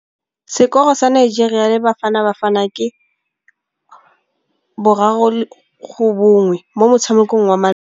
Sekôrô sa Nigeria le Bafanabafana ke 3-1 mo motshamekong wa malôba.